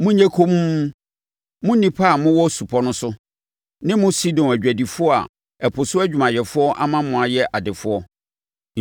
Monyɛ komm, mo nnipa a mowɔ supɔ no so ne mo Sidon adwadifoɔ a ɛpo so adwumayɛfoɔ ama mo ayɛ adefoɔ.